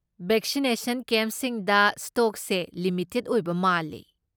Vaccination ꯀꯦꯝꯞꯁꯤꯡꯗ ꯁ꯭ꯇꯣꯛꯁꯦ limited ꯑꯣꯏꯕ ꯃꯥꯜꯂꯦ꯫